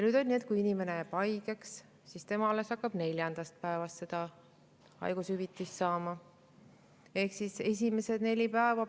Nüüd on nii, et kui inimene jääb haigeks, siis ta hakkab haigushüvitist saama alles neljandast päevast.